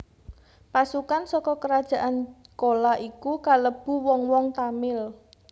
Pasukan saka kerajaan Cola iku kalebu wong wong Tamil